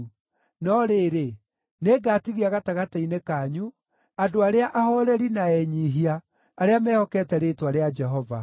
No rĩrĩ, nĩngatigia gatagatĩ-inĩ kanyu andũ arĩa ahooreri na enyiihia, arĩa mehokete rĩĩtwa rĩa Jehova.